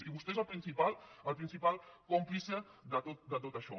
i vostè és el principal còmplice de tot això